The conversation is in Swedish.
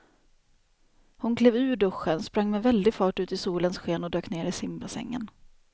Hon klev ur duschen, sprang med väldig fart ut i solens sken och dök ner i simbassängen.